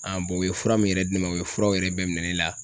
u ye fura min yɛrɛ di ne ma, u ye furaw yɛrɛ bɛɛ minɛ ne la.